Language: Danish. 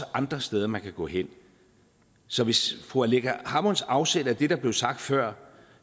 andre steder man kan gå hen så hvis fru aleqa hammonds afsæt er det der blev sagt før